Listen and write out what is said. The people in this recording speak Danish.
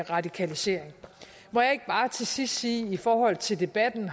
radikalisering må jeg ikke bare til sidst sige i forhold til debatten